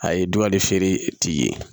A ye dugali feere t'i ye